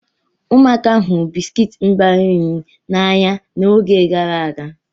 Ụmụaka hụrụ bisikiiti mgbari nri n'anya n'oge gara aga.